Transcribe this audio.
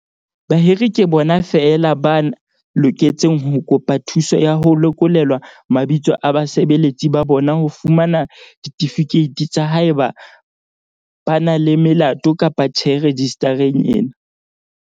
Bahiri ke bona feela ba loketseng ho kopa thuso ya ho lekolelwa mabitso a basebeletsi ba bona ho fumana ditifikeiti tsa haeba ba na le melato kapa tjhe rejistareng ena.